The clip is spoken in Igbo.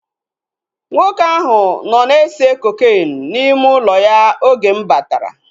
Nwoke ahụ nọ na-ese kokeenu n'ime ụlọ ya oge m batara